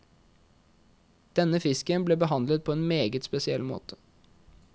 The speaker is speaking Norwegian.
Denne fisken ble behandlet på en meget spesiell måte.